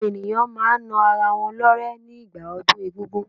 Àwọn ènìyàn máa n na ara wọn lọ́rẹ́ ní gbà ọdún egún-gún